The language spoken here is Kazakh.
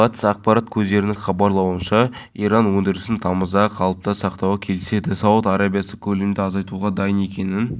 шақырым жолға асфальт төселіп бейнебақылау камерасы қойылды енді қоғамдық қауіпсіздікті полиция бекеті бақылайды оқыс жағдайлар